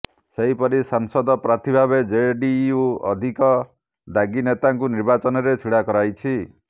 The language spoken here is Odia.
ସେହିପରି ସାଂସଦ ପ୍ରାର୍ଥୀଭାବେ ଜେଡିୟୁ ଅଧିକ ଦାଗୀ ନେତାଙ୍କୁ ନିର୍ବାଚନରେ ଛିଡ଼ା କରାଇଛି